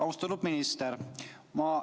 Austatud minister!